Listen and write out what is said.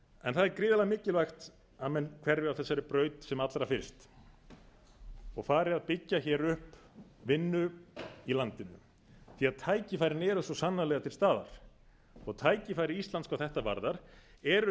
það er gríðarlega mikilvægt að menn hverfi af þessari braut sem allra fyrst og ari að byggja hér upp vinnu í landinu því tækifærin eru svo sannarlega til staðar tækifæri íslands hvað þetta varðar eru